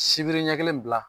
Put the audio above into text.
Sibiri ɲɛ kelen bila